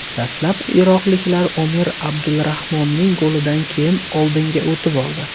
Dastlab iroqliklar Omer Abdulrahmonning golidan keyin oldinga o‘tib oldi.